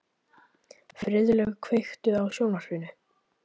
Friðlaug, kveiktu á sjónvarpinu.